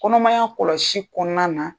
Kɔnɔmaya kɔlɔsi kɔɔna na